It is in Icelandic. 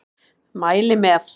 Mæli með!